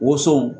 Woson